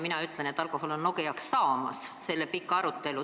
Mina ütlen, et alkohol on Eesti Nokiaks saamas.